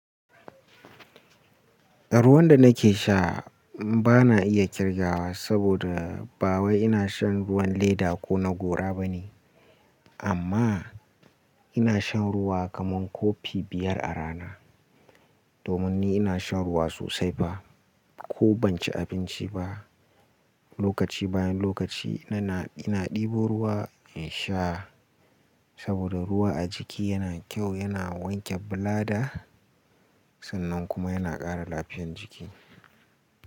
Ruwan da nake sha ba na iya kirgawa saboda ba wai ina shan ruwan leda ko na gora ba ne. Amma ina shan ruwa kaman kofi biyar a rana. Domin ni ina shan ruwa sosai ba, ko ban ci abinci ba. Lokaci bayan lokaci ina ɗebo ruwa in sha saboda ruwa a jiki yana kyau, yana wanke bulada sannan kuma yana ƙara lafiyan jiki.